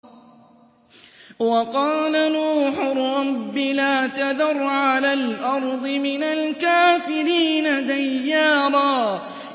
وَقَالَ نُوحٌ رَّبِّ لَا تَذَرْ عَلَى الْأَرْضِ مِنَ الْكَافِرِينَ دَيَّارًا